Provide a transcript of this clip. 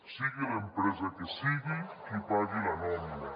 sigui l’empresa que sigui qui pagui la nòmina